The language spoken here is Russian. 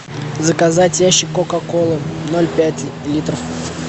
заказать ящик кока колы ноль пять литров